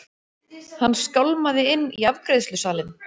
Hann skálmaði inn í afgreiðslusalinn.